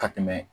Ka tɛmɛ